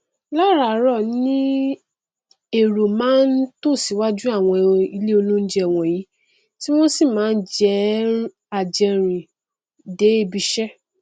láràárọ ni èrò máa n tò síwájú àwọn ilé oúnjẹ wọnyìí tí wọn sì njẹ àjẹrìn dé ibiṣẹ